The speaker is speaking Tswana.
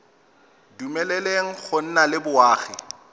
dumeleleng go nna le boagi